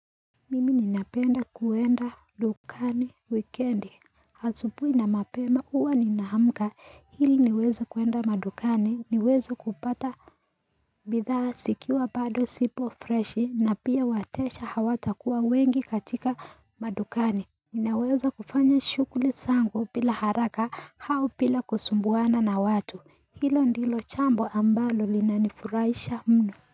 Mimi ninapenda kuenda dukani wikendi asubuhi na mapema huwa ninaamka ili niweze kuenda madukani niweze kupata bidhaa zikiwa bado zipo freshi na pia wateja hawatakuwa wengi katika madukani Ninaweza kufanya shughuli zangu bila haraka au bila kusumbuana na watu hilo ndilo jambo ambalo linanifurahisha mno.